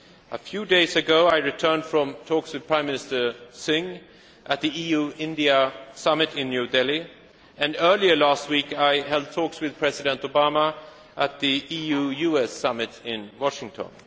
A few days ago, I returned from talks with Prime Minister Singh at the EU India Summit in New Delhi, and earlier last week, I held talks with President Obama at the EU US Summit in Washington.